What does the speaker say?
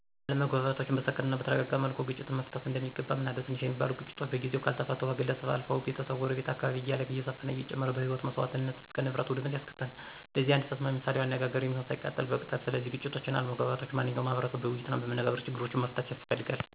አለመግባባቶችን በሰከነ እናበተረጋጋ መልኩ ግጭትን መፍታት እንደሚገባ አምናለሁ። ትንሽ ሚባሉ ግጭቶች በጊዜው ካልተፈቱ ከግለሰብ አልፈው፣ ቤተሰብ፣ ጎረቤት፣ እና አካባቢ እያለ እየሰፈና እየጨመረ ከህይወት መሰዋትነት እስከ ንብረት ውድመት ያስከትላል። ለዚህ አንድ ተስማሚ ምሳሌአዊ አነጋገር የሚሆን፦ ሳይቀጠል በቅጠል ይላል። ስለዚህ ግጭቶችን፣ አለመግባባቶችን ማንኛው ማህቀረሰብ በወይይትናበመነጋገር ችግሮችን መፍታት ያስፈልጋል።